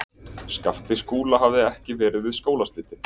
Skapti Skúla hafði ekki verið við skólaslitin.